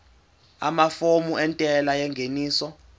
amafomu entela yengeniso